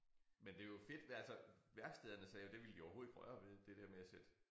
Men det jo fedt altså værkstederne sagde jo det ville de overhovedet ikke røre ved det der med at sætte